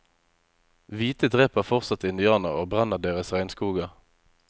Hvite dreper fortsatt indianere og brenner deres regnskoger.